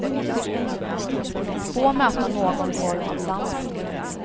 Få möta någon form av sans.